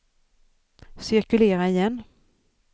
cirkulera igen